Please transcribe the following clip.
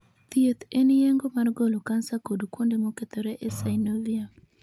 Thieth en yeng'o mar golo kansa kod kuonde mokethore e synovium.